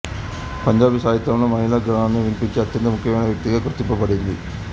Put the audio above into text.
పంజాబీ సాహిత్యంలో మహిళా గళాన్ని వినిపించే అత్యంత ముఖ్యమైన వ్యక్తిగా గుర్తింపబడింది